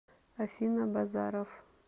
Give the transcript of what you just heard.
афина базаров